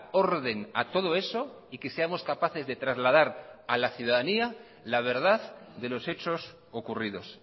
orden a todo eso y que seamos capaces de trasladar a la ciudadanía la verdad de los hechos ocurridos